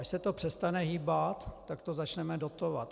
Až se to přestane hýbat, tak to začneme dotovat.